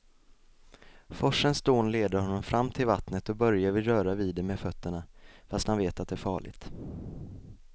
Forsens dån leder honom fram till vattnet och Börje vill röra vid det med fötterna, fast han vet att det är farligt.